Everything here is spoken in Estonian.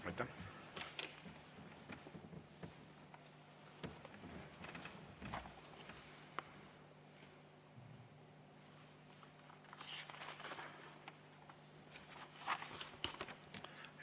Aitäh!